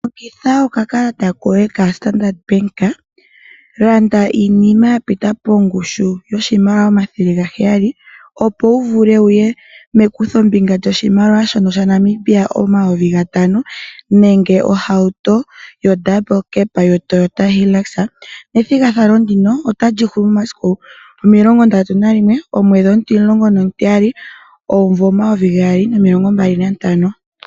Longitha oka kalata koye ka Standard Bank, landa iinima yapita pongushu yoshimaliwa omathele 700 opo wuvule wuye mekutho ombinga lyoshimaliwa 500 nenge ohauto yo ndambulu kepa yo Toyota Hilux, nethingathano ndino otali hulu mesiku 31 Desemba 2025.